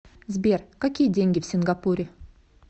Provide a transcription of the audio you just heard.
сбер какие деньги в сингапуре